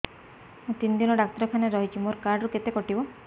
ମୁଁ ତିନି ଦିନ ଡାକ୍ତର ଖାନାରେ ରହିଛି ମୋର କାର୍ଡ ରୁ କେତେ କଟିବ